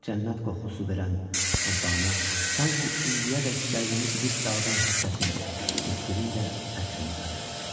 Cənnət qoxusu verən torpağına, sanki indiyədək qəlbimi didib dağıdan həsrətin niskinin də ətrini qatır.